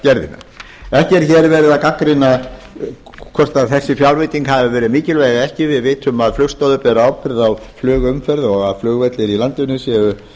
fjárlagagerðina ekki er hér verið að gagnrýna hvort þessi fjárveiting hafi verið mikilvæg eða ekki við vitum að flugstoðir bera ábyrgð á flugumferð og að flugvellir í landinu séu